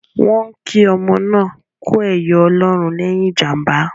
Wọ́n ń kí ọmọ náà kú ẹyọ Ọlọ́run lẹ́yìn ìjàmbá